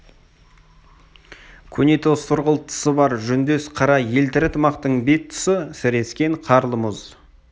көнетоз сұрғылт тысы бар жүндес қара елтірі тымақтың бет тұсы сірескен қарлы мұз